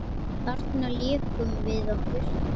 Þarna lékum við okkur.